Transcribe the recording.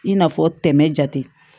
I n'a fɔ tɛmɛ jate